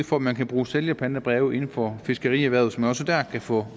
for at man kan bruge sælgerpantebreve inden for fiskerierhvervet så man også der kan få